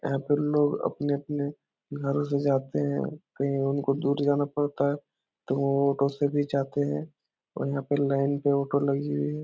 यहाँ पे लोग अपने-अपने घरों से जातें हैं कहीं उनको दूर जाना पड़ता है। तो वो ऑटो से जातें हैं और यहाँ पे लाइन पे ऑटो लगी हुई है।